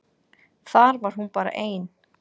Þar var hún bara ein.